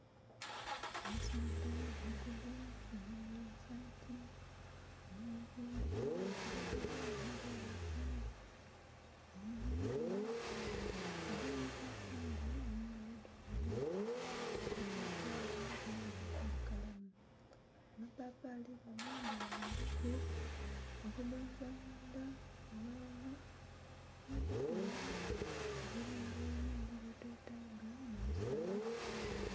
Omusaadha mukulu ayambaire esaati mulimu ebikulubuzo edha kilagala omudhulufu, omugemugemu agemye eipapali mungalo dhombi. Eipapali kyenvu bukalamu, ama papali ganho gayambaku okugonza mundha aghalala nho kutugha ebirungao ebindhi bye twetaga mu musaayi.